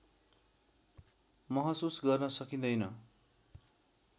महसुस गर्न सकिँदैन